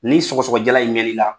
Ni sɔgɔsɔgɔ jala in mɛn n'i la